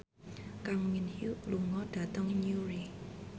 Kang Min Hyuk lunga dhateng Newry